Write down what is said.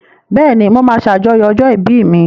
Bẹ́ẹ̀ni, mo máa ṣàjọyọ̀ ọjọ́ ìbí mi.